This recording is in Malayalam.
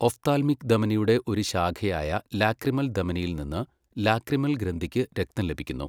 ഒഫ്താൽമിക് ധമനിയുടെ ഒരു ശാഖയായ ലാക്രിമൽ ധമനിയിൽ നിന്ന് ലാക്രിമൽ ഗ്രന്ഥിക്ക് രക്തം ലഭിക്കുന്നു.